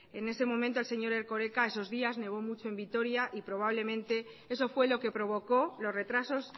en ese momento el señor erkoreka esos días nevó mucho en vitoria y probablemente eso fue lo que provocó los retrasos